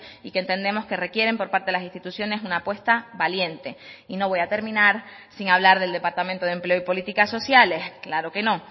y que entendemos que requieren por parte de las instituciones una apuesta valiente y no voy a terminar sin hablar del departamento de empleo y políticas sociales claro que no